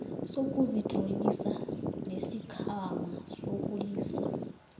sokuzitlolisa nesikhwama sokulilisa